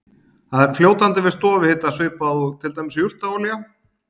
það er fljótandi við stofuhita svipað og til dæmis jurtaolía